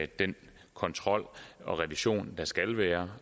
den kontrol og revision der skal være